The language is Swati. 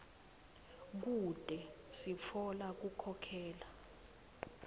kute sitfola kukhokhela